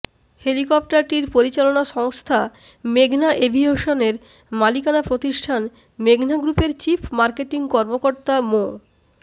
হেলিকপ্টারটির পরিচালনা সংস্থা মেঘনা এভিয়েশনের মালিকানা প্রতিষ্ঠান মেঘনা গ্রুপের চিফ মার্কেটিং কর্মকর্তা মো